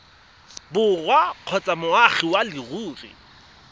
borwa kgotsa moagi wa leruri